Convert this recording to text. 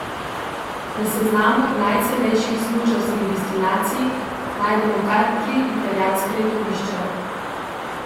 Na seznamu najcenejših smučarskih destinacij najdemo kar tri italijanska letovišča.